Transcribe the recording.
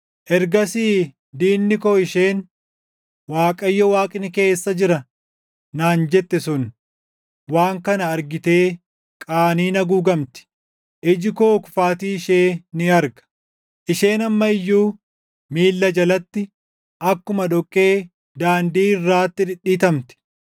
Ergasii diinni koo isheen, “ Waaqayyo Waaqni kee eessa jira?” naan jette sun waan kana argitee qaaniin haguugamti. Iji koo kufaatii ishee ni arga; Isheen amma iyyuu miilla jalatti akkuma dhoqqee daandii irraatti dhidhiitamti.